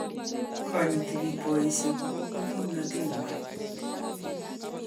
Konyiti biik boisiek okupo kimnatet ng'wany.